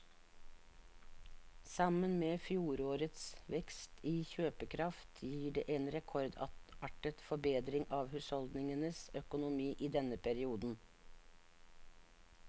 Sammen med fjorårets vekst i kjøpekraft gir det en rekordartet forbedring av husholdningenes økonomi i denne perioden.